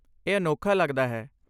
ਇਹ ਅਨੋਖਾ ਲੱਗਦਾ ਹੈ।